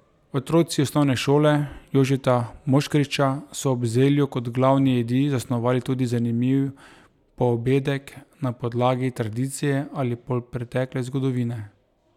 Otroci osnovne šole Jožeta Moškriča so ob zelju kot glavni jedi zasnovali tudi zanimiv poobedek, na podlagi tradicije ali polpretekle zgodovine.